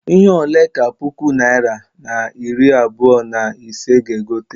Ihe ole ka puku naịra na iri abụọ na ise ga- egote?